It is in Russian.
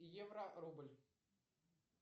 евро рубль